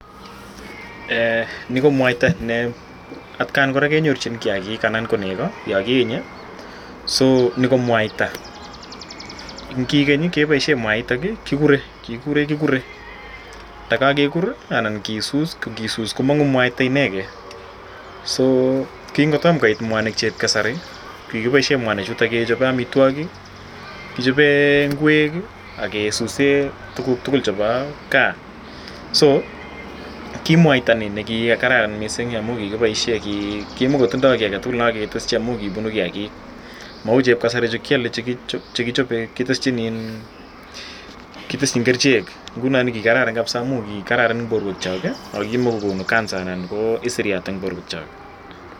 Eeh nii ko mwaita nee atkan kora kenyorchin kiakik anan ko nekoo yoon kienye, so nii ko mwaita kikeny keboishen mwaitok kikuren kure ndokokekur anan kisus, ngisus komong'u mwaita, so king'otomo koit mwanik chuueb kasari kikiboishen mwanichu kechope amitwokik, kichoben ing'wek ak kisuse tukuk tukul chebo kaa, so kimwaita ko kikararan amun kikiboishen kimokitindo kii aketukul amun kibunu kiakik, mou chuueb kasari chekichoben kiteshin iin kitesyin kerichek kikararan eng' borwekyok kimokokonu cancer anan ko isiriat eng borwekyok.